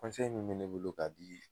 min mɛ ne bolo k'a di